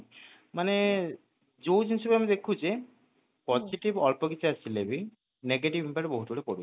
ମାନେ ଯୋଉ ଜିନିଷଟା ଆମେ ଦେଖିଲେ positive ଅଳପ କିଛି ଆସିଲେବି negative impact ବହୁତ ଗୁଡ଼େ ପଡୁଛି